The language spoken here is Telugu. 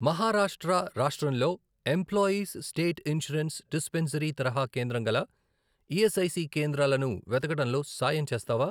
మహారాష్ట్ర రాష్ట్రంలో ఎంప్లాయీస్ స్టేట్ ఇన్షూరెన్స్ డిస్పెన్సరీ తరహా కేంద్రం గల ఈఎస్ఐసి కేంద్రాలను వెతకడంలో సాయం చేస్తావా?